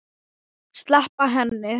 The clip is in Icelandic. Sleppa henni.